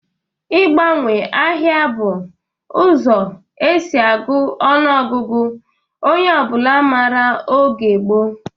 Ị gbanwe ahịa bụ ụzọ e si agụ ọnụọgụgụ onye ọbụla mara oge gboo